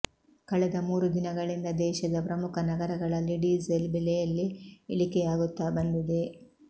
ಕಳೆದ ಮೂರು ದಿನಗಳಿಂದ ದೇಶದ ಪ್ರಮುಖ ನಗರಗಳಲ್ಲಿ ಡಿಸೇಲ್ ಬೆಲೆಯಲ್ಲಿ ಇಳಿಕೆಯಾಗುತ್ತಾ ಬಂದಿದೆ